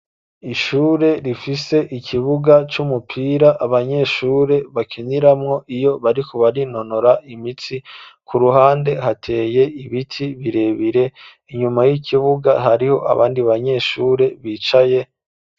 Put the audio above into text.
Ishure rifise ikibuga c'umupira, abanyeshure bakiniramwo, iyo bariku barinonora imitsi, ku ruhande hateye ibiti birebire ,inyuma y'ikibuga hariho abandi banyeshure bicaye